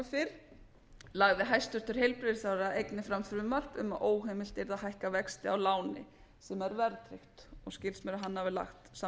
fyrr lagði hæstvirtur heilbrigðisráðherra einnig fram frumvarp um að óheimilt yrði að hækka vexti af láni sem væri verðtryggð og skilst mér að hann hafi lagt